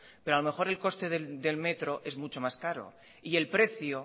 pero a lo mejor el coste del metro es mucho más caro y el precio